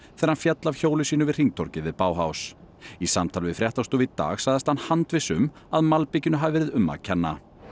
þegar hann féll af hjóli sínu við hringtorgið við í samtali við fréttastofu í dag sagðist hann handviss um að malbikinu hafi verið um að kenna